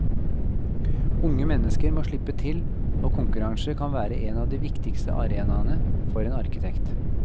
Unge mennesker må slippe til, og konkurranser kan være en av de viktigste arenaene for en arkitekt.